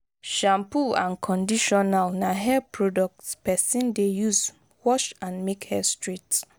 shampoo and conditional na hair products person de use wash and make hair straight